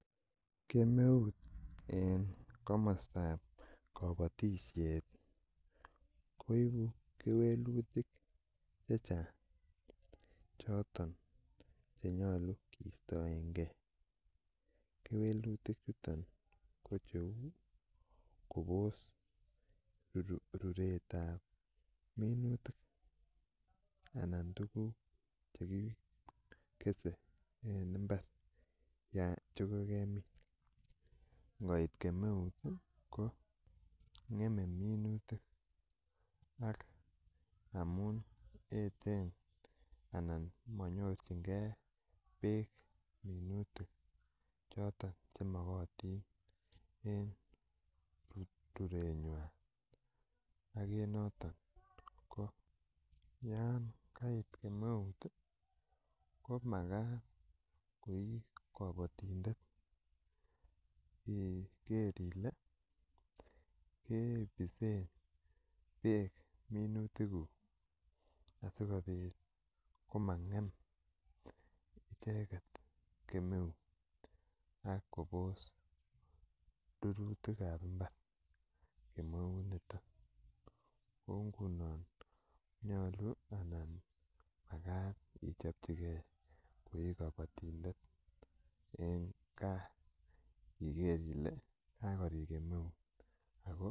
Kemeut en komostab kabotishet koibu kewelutik chechang' choton chenyolun kiistoengei kewelutik chuton ko cheu kobos ruretab minutik anan tukuk chekikeser en imbar chekemin ngoit kemeut ko ng'eme minutik ak amun eten anan manyorchingei beek minutik choton chemokotin en rureng'wai ak en noton ko yon kait kemeut ko makat ko ii kabatindet iker ile kepisen beek minutikuk asikobit komang'em icheget kemeut ak kobos rurutikab mbar kemeuniton ko nguno nyolu anan makat ichopchigei ko ii kabatindet eng' kaa iker ile kakorik kemeut ako